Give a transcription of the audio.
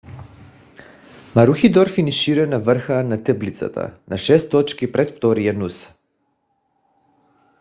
марухидор финишира на върха на таблицата на 6 точки пред втория нуса